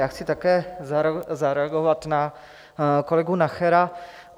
Já chci také zareagovat na kolegu Nachera.